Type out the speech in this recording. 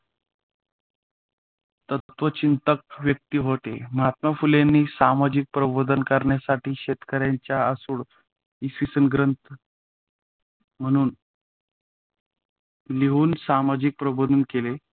तत्त्वचिंतक व्यक्तिमत्त्व होते. महात्मा फुलेंनी सामाजिक प्रबोधन करण्यासाठी शेतकऱ्यांचा आसूड इ. ग्रंथ महणुन सामाजिक प्रबोधन केले.